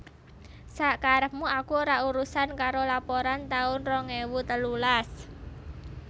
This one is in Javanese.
Sak karepmu aku ora urusan karo laporan taun rong ewu telulas